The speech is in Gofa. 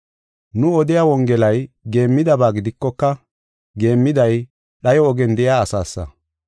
Nu odiya Wongelay geemmidaba gidikoka, geemmiday dhayo ogen de7iya asaasa.